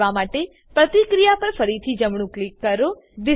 આમ કરવા માટે પ્રતિક્રિયા પર ફરીથી જમણું ક્લિક કરો